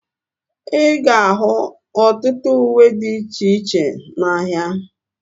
Ịga ahu ọtụtụ uwe dị iche iche n'ahia